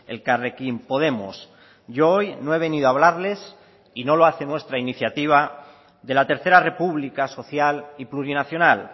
elkarrekin podemos yo hoy no he venido a hablarles y no lo hace nuestra iniciativa de la tercera república social y plurinacional